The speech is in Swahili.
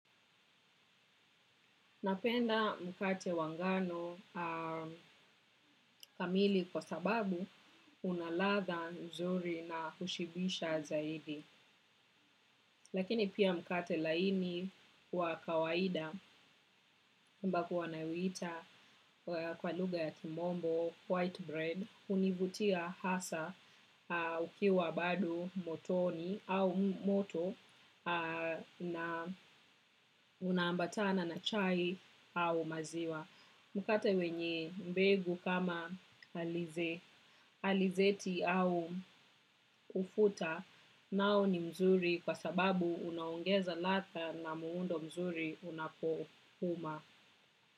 Napenda mkate wa ngano kamili kwa sababu unaladha mzuri na hushibisha zaidi. Lakini pia mkate laini wa kawaida ambako wanauita kwa lugha ya timombo, white bread, hunivutia hasa ukiwa bado motoni au moto na unaambatana na chai au maziwa. Mkate wenye mbegu kama alizeti au ufuta nao ni mzuri kwa sababu unaongeza ladha na muundo mzuri unakokuma.